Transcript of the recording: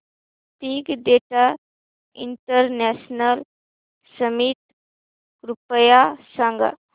big data international summit कृपया सांगा